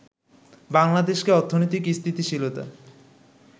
বাংলাদেশকে অর্থনৈতিক স্থিতিশীলতা